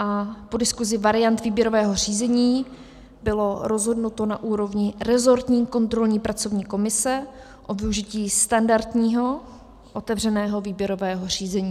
A po diskuzi variant výběrového řízení bylo rozhodnuto na úrovni resortní kontrolní pracovní komise o využití standardního otevřeného výběrového řízení.